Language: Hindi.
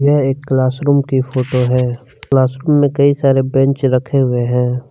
यह एक क्लास रूम की फोटो हैं क्लास रूम में कई सारे बेंच रखे हुए हैं।